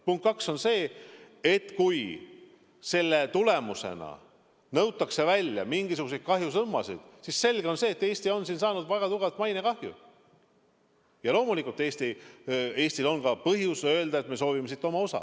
Punkt kaks on see, et kui selle tulemusena nõutakse välja mingisuguseid kahjusummasid, siis selge on see, et Eesti on saanud väga tugevalt mainekahju, ja loomulikult on Eestil põhjust öelda, et me soovime siit oma osa.